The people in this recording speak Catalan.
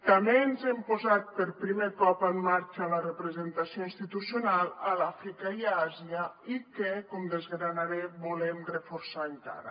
també hem posat per primer cop en marxa la representació institucional a l’àfrica i a àsia i que com desgranaré volem reforçar encara